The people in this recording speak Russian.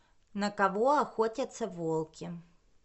на кого охотятся волки